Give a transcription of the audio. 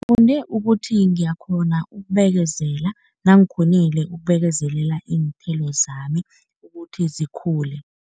Ngifunde ukuthi ngiyakghona ukubekezela nangikghonile ukubekezelela iinthelo zami ukuthi zikhule.